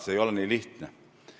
See ei ole nii lihtne.